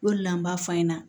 O de la n b'a f'a ɲɛna